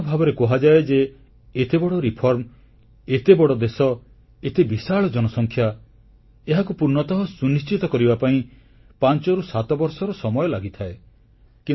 ସାଧାରଣ ଭାବରେ କୁହାଯାଏ ଯେ ଏତେବଡ଼ ଟିକସ ସଂସ୍କାରକୁ ଏତେ ବଡ଼ ଦେଶ ଏତେ ବିଶାଳ ଜନସଂଖ୍ୟା ଏହାକୁ ପୂର୍ଣ୍ଣତଃ ସୁନିଶ୍ଚିତ କରିବାପାଇଁ 5ରୁ 7 ବର୍ଷର ସମୟ ଲାଗିଥାଏ